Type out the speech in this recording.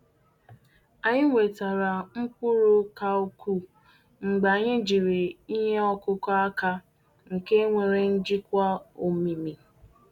Anyị nwetara mkpụrụ ka ukwuu mgbe anyị jiri ihe ọkụkụ aka nke nwere njikwa omimi.